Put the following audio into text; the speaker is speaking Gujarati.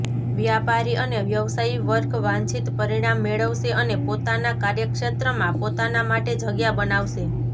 વ્યાપારી અને વ્યવસાયી વર્ગ વાંછિત પરિણામ મેળવશે અને પોતાના કાર્યક્ષેત્ર માં પોતાના માટે જગ્યા બનાવશે